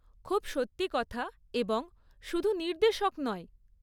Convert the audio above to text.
খুব সত্যি কথা এবং শুধু নির্দেশক নয়।